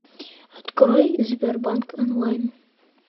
открой сбербанк онлайн